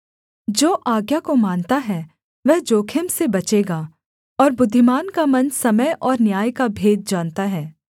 जो आज्ञा को मानता है वह जोखिम से बचेगा और बुद्धिमान का मन समय और न्याय का भेद जानता है